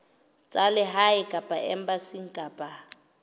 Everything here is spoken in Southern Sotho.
tsa lehae kapa embasing kapa